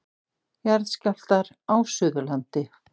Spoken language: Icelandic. Jarðskjálftar á Suðurlandi.